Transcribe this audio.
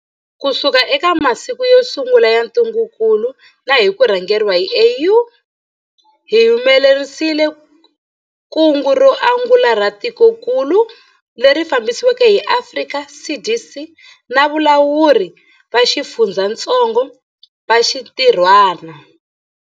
Kusuka eka masiku yo sungula ya ntungukulu na hi ku rhangeriwa hi AU, hi humelerisile kungu ro angula ra tikokulu, leri fambisiweke hi Afrika CDC na valawuri va xifundzatsongo va xintirhwana.